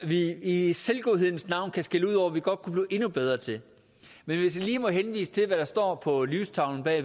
vi i selvgodhedens navn kan skælde ud over vi godt kunne blive endnu bedre til men hvis jeg lige må henvise til hvad der står på lystavlen bag